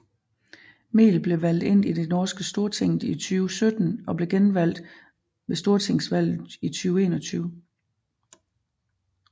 Mehl blev valgt ind i det norske Stortinget i 2017 og blev genvalgt ved Stortingsvalget 2021